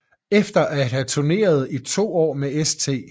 Efter at have turneret i to år med St